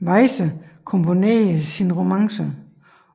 Weyse komponerede sine romancer